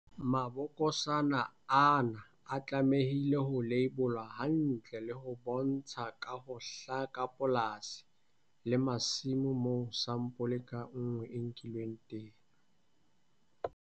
Mabokosana ana a tlamehile ho leibolwa hantle le ho bontsha ka ho hlaka polasi le masimo moo sampole ka nngwe e nkilweng teng.